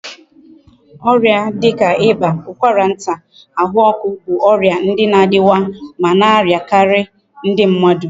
Oria dika iba, ukwara nta, ahu oku bu oria ndi na adiwa ma na ariakari ndi mmadu